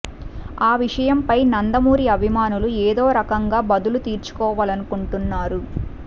ఆ విషయం పై నందమూరి అభిమానులు ఎదో రకంగా బదులు తిర్చుకోవలనుకుంటున్నారు